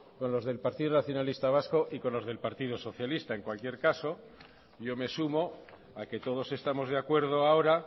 con los del partido nacionalista vasco y con los del partido socialista en cualquier caso yo me sumo a que todos estamos de acuerdo ahora